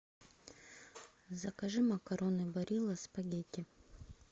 закажи макароны барилла спагетти